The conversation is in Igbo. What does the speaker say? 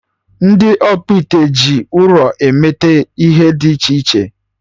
Ndị ọkpụite ji ụrọ emete ihe dị iche iche